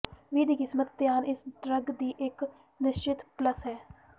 ਵੀ ਦੀ ਕੀਮਤ ਧਿਆਨ ਇਸ ਡਰੱਗ ਦੀ ਇੱਕ ਨਿਸ਼ਚਿਤ ਪਲੱਸ ਹੈ